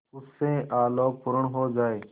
उससे आलोकपूर्ण हो जाए